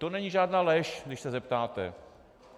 To není žádná lež, když se zeptáte.